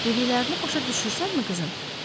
Dediklərində başa düşürsənmi, qızım?